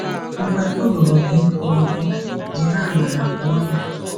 Mgbe o ruru gị ikwu okwu, jiri amara kwuo ya.